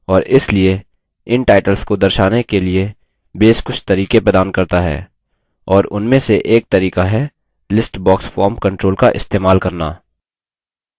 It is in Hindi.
और इसलिए इन titles को दर्शाने के लिए base कुछ तरीके प्रदान करता है और उनमे से एक तरीका है list box form control का इस्तेमाल करना